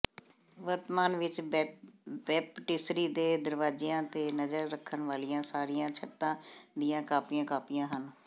ਵਰਤਮਾਨ ਵਿਚ ਬੈਪਟਿਸਰੀ ਦੇ ਦਰਵਾਜ਼ਿਆਂ ਤੇ ਨਜ਼ਰ ਰੱਖਣ ਵਾਲੀਆਂ ਸਾਰੀਆਂ ਛੱਤਾਂ ਦੀਆਂ ਕਾਪੀਆਂ ਕਾਪੀਆਂ ਹਨ